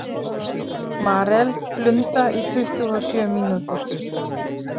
Marel, blunda í tuttugu og sjö mínútur.